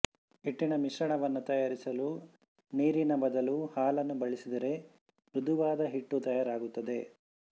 ಹಿಟ್ಟಿನ ಮಿಶ್ರಣವನ್ನು ತಯಾರಿಸಲು ನೀರಿನ ಬದಲು ಹಾಲನ್ನು ಬಳಸಿದರೆ ಮ್ರುದುವಾದ ಹಿಟ್ಟು ತಯಾರಾಗುತ್ತದೆ